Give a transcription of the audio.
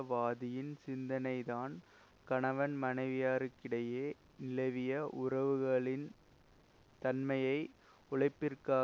வாதியின் சிந்தனைதான் கணவன் மனைவியாருக்கிடையே நிலவிய உறவுகளின் தன்மையை உழைப்பிற்கான